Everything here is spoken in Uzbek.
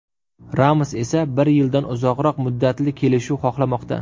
Ramos esa bir yildan uzoqroq muddatli kelishuv xohlamoqda.